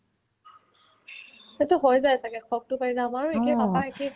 সেইটো হৈ যায় ছাগে চ'কতো পাই যে আমাৰ একে আমাৰ papa একে